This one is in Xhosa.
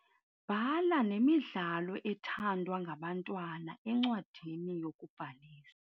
Bhala nemidlalo ethandwa ngabantwana encwadini yokubhalisa.